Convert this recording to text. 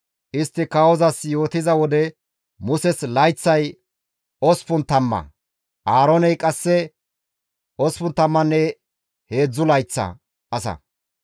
Istti kawozas yootiza wode Muses layththay osppun tamma; Aarooney qasse 83 layththa asa.